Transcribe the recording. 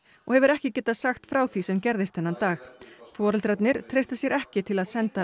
og hefur ekki getað sagt frá því sem gerðist þennan dag foreldrarnir treysta sér ekki til að senda